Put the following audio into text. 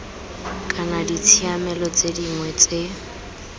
kana ditshiamelo tse dingwe tse